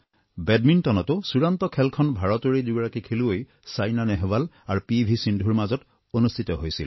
বেডমিণ্টনতো চুড়ান্ত খেলখনত ভাৰতৰেই দুগৰাকী খেলুৱৈ ছাইনা নেহৱাল আৰু পি ভি সিন্ধুৰ মাজত অনুষ্ঠিত হৈছিল